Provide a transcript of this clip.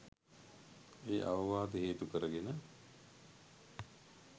ඒ අවවාද හේතු කරගෙන